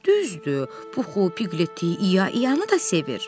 Düzdür, Puxu, Piqleti, İya-İyanı da sevir.